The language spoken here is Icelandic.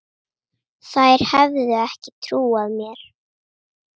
Þær hefðu ekki trúað mér.